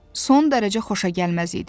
Son dərəcə xoşagəlməz idi.